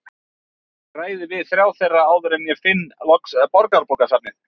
Ég ræði við þrjá þeirra áður en ég finn loks Borgarbókasafnið.